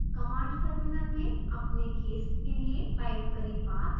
command terminal में अपने case के लिए टाइप करें path